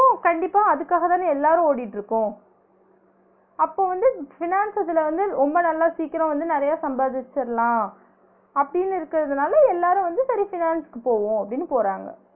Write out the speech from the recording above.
கண்டிப்பா அதுக்காகதான எல்லாரு ஓடிட்டு இருக்கோ அப்ப வந்து finance இதுல வந்து ரொம்ப நல்லா சீக்கிரோ வந்து நெறைய சம்பாதிச்சிரலா அப்டினு இருக்கதுதால எல்லாரு வந்து சரி finance க்கு போவோ அப்டினு போறாங்க